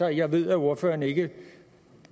og jeg ved at ordføreren ikke